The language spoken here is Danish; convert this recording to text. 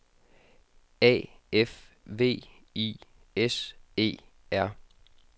A F V I S E R